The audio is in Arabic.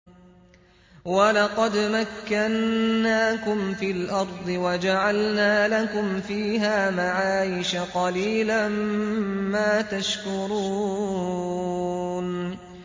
وَلَقَدْ مَكَّنَّاكُمْ فِي الْأَرْضِ وَجَعَلْنَا لَكُمْ فِيهَا مَعَايِشَ ۗ قَلِيلًا مَّا تَشْكُرُونَ